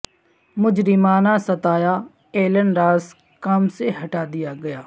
مجرمانہ ستایا ایلن راز کام سے ہٹا دیا گیا